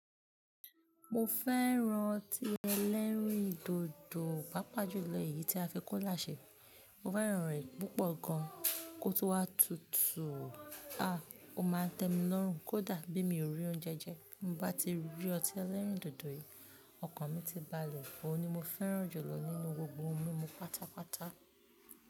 Mo fẹ́ran ọtí ẹlẹ́rìndòdò pàápàá jù lọ èyí tí a fi kola ṣe. Mo fẹ́ran rẹ̀ púpọ̀ gan, kó tun wá tutù, aá! Ó máa ń tẹ mi lórùn, kódà bí mi ò rí oúnjẹ jẹ, bi mo bá ti rí ọtí ẹlẹ́rìndòdò yìí, ọkàn mi ti balẹ̀. Óuni mo fẹ́ràn jùlọ nínú gbogbo ohun mímu pátápátá.